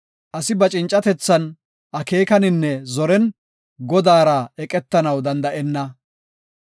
Asi ba cincatethan, akeekaninne zoren Godaara eqetanaw danda7enna.